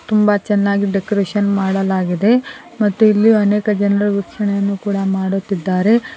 ತುಂಬಾ ಚೆನ್ನಾಗಿದೆ ಡೆಕೋರೇಷನ್ ಮಾಡಲಾಗಿದೆ ಮತ್ತು ಇಲ್ಲಿ ಅನೇಕ ಜನರು ವೀಕ್ಷಣೆಯನ್ನು ಕೂಡ ಮಾಡುತ್ತಿದ್ದಾರೆ.